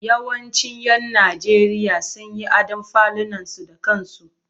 Yawancin 'yan Najeriya sun yi adon falunansu da kansu.